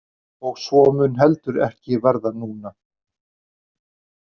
Og svo mun heldur ekki verða núna!